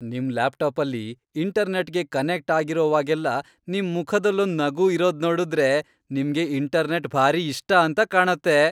ನಿಮ್ ಲ್ಯಾಪ್ಟಾಪಲ್ಲಿ ಇಂಟರ್ನೆಟ್ಗೆ ಕನೆಕ್ಟ್ ಆಗಿರುವಾಗೆಲ್ಲ ನಿಮ್ ಮುಖದಲ್ಲೊಂದ್ ನಗು ಇರೋದ್ನೋಡುದ್ರೆ ನಿಮ್ಗೆ ಇಂಟರ್ನೆಟ್ ಭಾರಿ ಇಷ್ಟ ಅಂತ ಕಾಣತ್ತೆ!